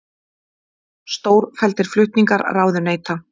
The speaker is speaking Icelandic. Stórfelldir flutningar ráðuneyta